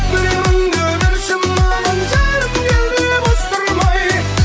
біреуіңді бос тұрмай